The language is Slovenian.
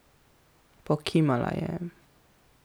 Pokimala je.